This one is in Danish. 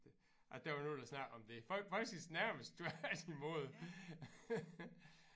At der var nogen der snakkede om det faktisk nærmest tvært imod